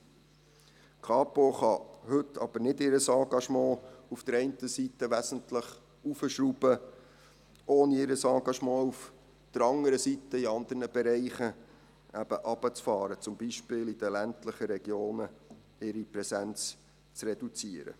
Die Kapo kann heute aber nicht ihr Engagement auf der einen Seite wesentlich heraufschrauben, ohne auf der anderen Seite ihr Engagement in anderen Bereichen eben herunterzufahren, zum Beispiel ihre Präsenz in den ländlichen Regionen zu reduziert.